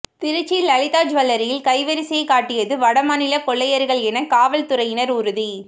திருச்சி லலிதா ஜூவல்லரியில் கைவரிசை காட்டியது வடமாநில கொள்ளையர்கள் என காவல்துறையினர் உறுதி